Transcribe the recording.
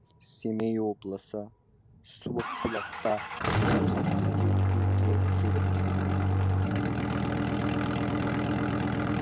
семей облысы суықбұлақта жалғыз бекет үйге келіп түстік